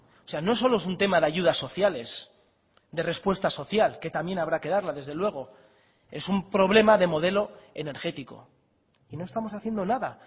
o sea no solo es un tema de ayudas sociales de respuesta social que también habrá que darla desde luego es un problema de modelo energético y no estamos haciendo nada